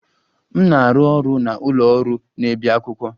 M na-arụ ọrụ na ụlọ ọrụ na-ebi akwụkwọ.